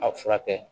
A furakɛ